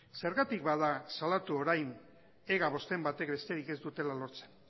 zergatik bada salatu orain ega bosten batek besterik ez dutela lortzen